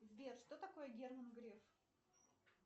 сбер что такое герман греф